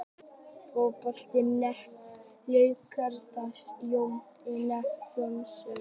Fótbolti.net, Laugardalsvelli- Jón Einar Jónsson.